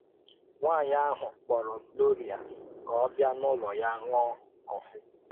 Nwányị ahụ kpọ̀rọ Gloria ka ọ ọ bịa n’ùlọ ya ṅụ́ọ́ kọ́fị.